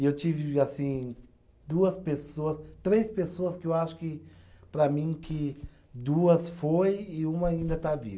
E eu tive, assim, duas pessoas, três pessoas que eu acho que, para mim, que duas foi e uma ainda está viva.